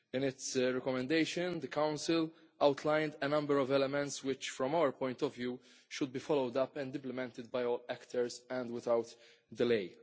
In its recommendation, the Council outlined a number of elements which, from our point of view, should be followed up and implemented by all actors and without delay.